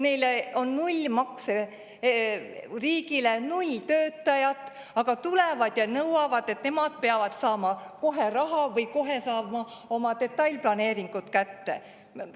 Neil on null makse riigile, null töötajat, aga tulevad ja nõuavad, et nad peavad kohe saama raha või kohe saama oma detailplaneeringud kätte.